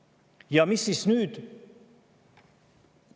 Ja mis siis nüüd?